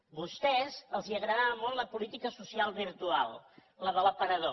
a vostès els agradava molt la política social virtual la de l’aparador